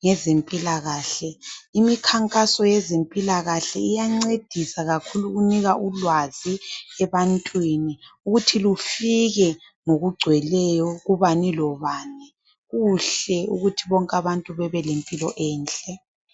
ngezempilakahle imikhankaso yezempilakahle iyancedisa kakhulu ukunika ulwazi ebantwini ukuthi lufike ngokungcweleyo kubani lobani kuhle ukuthi bonke abantu bebe lempilo enhle.